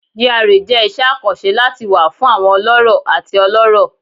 GRA jẹ iṣẹ akanṣe lati wa fun awọn ọlọrọ ati ọlọrọ